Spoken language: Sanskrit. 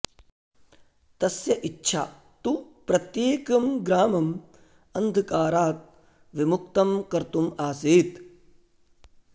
तस्य इच्छा तु प्रत्येकं ग्रामम् अन्धकारात् विमुक्तं कर्तुम् आसीत्